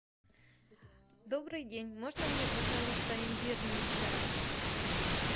добрый день можно мне пожалуйста имбирный чай